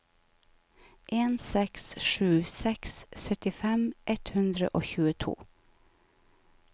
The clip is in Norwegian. en seks sju seks syttifem ett hundre og tjueto